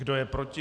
Kdo je proti?